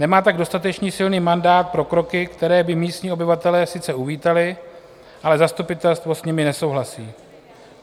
Nemá tak dostatečně silný mandát pro kroky, které by místní obyvatelé sice uvítali, ale zastupitelstvo s nimi nesouhlasí.